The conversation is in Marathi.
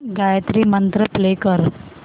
गायत्री मंत्र प्ले कर